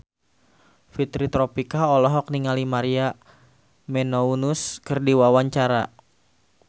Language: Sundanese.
Fitri Tropika olohok ningali Maria Menounos keur diwawancara